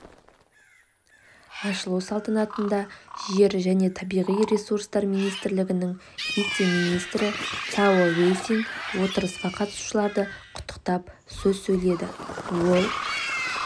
ашылу салтанатында жер және табиғи ресурстар министрлігінің вице-министрі цао вейсин отырысқа қатысушыларды құттықтап сөз сөйледі ол